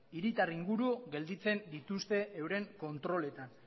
hiritar inguru gelditzen dituzten euren kontroletan